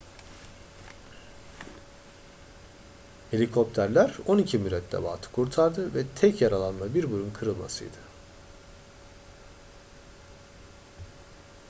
helikopterler on iki mürettebatı kurtardı ve tek yaralanma bir burun kırılmasıydı